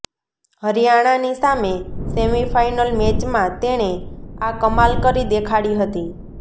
હરિયાણાની સામે સેમિફાઈનલ મેચમાં તેણે આ કમાલ કરી દેખાડી હતી